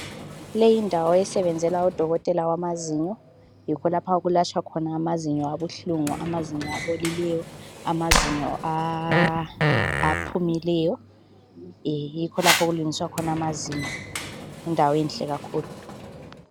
Leyi yindawo esebenzela udokotela wamazinyo. Yikho lapho okulahlwa khona amazinyo abuhlungu amazinyo abolileyo, amazinyo aphumileyo, yikho lapho okulungiswa khona amazinyo yindawenhle kakhulu.